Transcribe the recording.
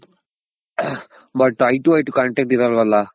but eye to eye contact ಇರಲ್ವಲ್ಲ.